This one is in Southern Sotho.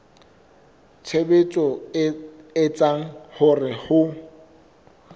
tshebetso e etsang hore ho